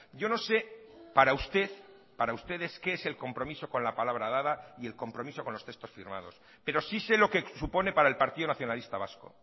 yo no sé para usted para ustedes qué es el compromiso con la palabra dada y el compromiso con los textos firmados pero sí sé lo que supone para el partido nacionalista vasco